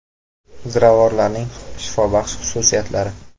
Ziravorlarning shifobaxsh xususiyatlari.